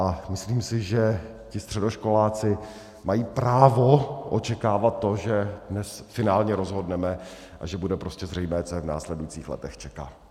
A myslím si, že ti středoškoláci mají právo očekávat to, že dnes finálně rozhodneme a že bude prostě zřejmé, co je v následujících letech čeká.